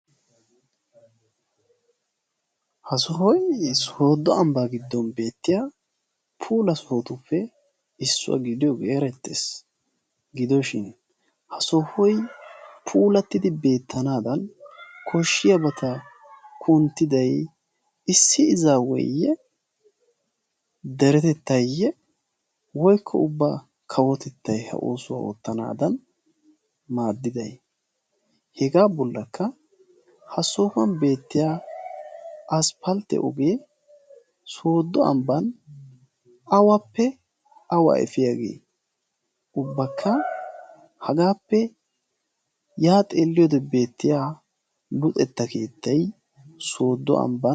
ha sohoy sooddo ambbaa giddon beettiya puula sohotuppe issuwaa giliyoogee erettees gidoshin ha sohoi puulattidi beettanaadan koshshiyaa bata kunttidai issi izaweeyye deretettayye woykko ubbaa kawotettai ha oosuwaa oottanaadan maaddidai hegaa bollakka ha sohuwan beettiya asppaltte ogee sooddo ambban awappe awaa efiyaagee ubbakka hagaappe yaa xeelliyoode beettiya luxetta keettai sooddo ambba.